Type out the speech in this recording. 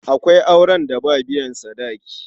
Akwai auren da ba biyan sadaki.